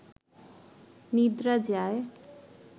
নিদ্রা যায়